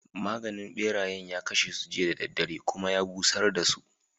Maganin ɓerayen ya kashe su jiya da daddare, kuma ya busar dasu.